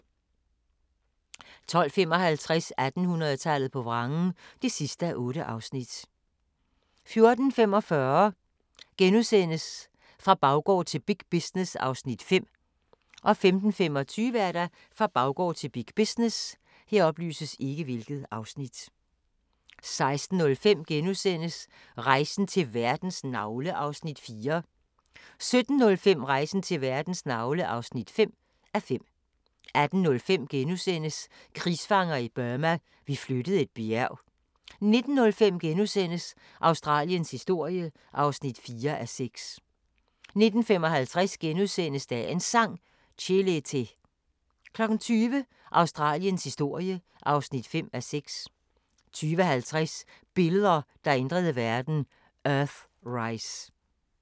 12:55: 1800-tallet på vrangen (8:8) 14:45: Fra baggård til big business (Afs. 5)* 15:25: Fra baggård til big business 16:05: Rejsen til verdens navle (4:5)* 17:05: Rejsen til verdens navle (5:5) 18:05: Krigsfanger i Burma – vi flyttede et bjerg * 19:05: Australiens historie (4:6)* 19:55: Dagens Sang: Chelete * 20:00: Australiens historie (5:6) 20:50: Billeder, der ændrede verden: Earthrise